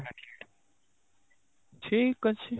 ଠିକ ଅଛି